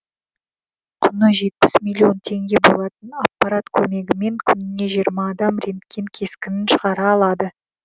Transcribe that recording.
құны жетпіс миллион теңге болатын аппарат көмегімен күніне жиырма адам рентген кескінін шығара алады